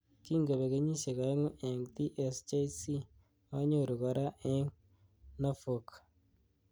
Kingobek kenyishek aengu engTSJC anyoru kora eng Norfolk.